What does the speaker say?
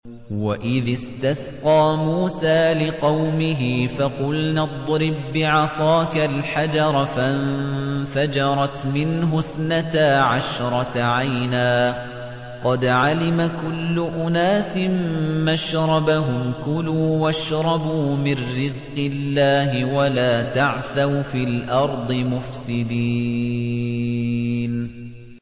۞ وَإِذِ اسْتَسْقَىٰ مُوسَىٰ لِقَوْمِهِ فَقُلْنَا اضْرِب بِّعَصَاكَ الْحَجَرَ ۖ فَانفَجَرَتْ مِنْهُ اثْنَتَا عَشْرَةَ عَيْنًا ۖ قَدْ عَلِمَ كُلُّ أُنَاسٍ مَّشْرَبَهُمْ ۖ كُلُوا وَاشْرَبُوا مِن رِّزْقِ اللَّهِ وَلَا تَعْثَوْا فِي الْأَرْضِ مُفْسِدِينَ